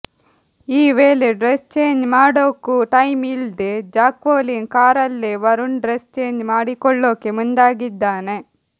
ಈ ವೇಳೆ dress change ಮಾಡೋಕು ಟೈಮ್ ಇಲ್ದೆ ಜಾಕ್ವೆಲಿನ್ ಕಾರಲ್ಲೇ ವರುಣ್ ಡ್ರೆಸ್ ಚೇಂಜ್ ಮಾಡಿಕೊಳ್ಳೊಕೆ ಮುಂದಾಗಿದ್ದಾನೆ